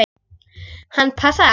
Hann passaði alveg.